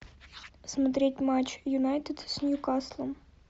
смотреть матч юнайтед с ньюкаслом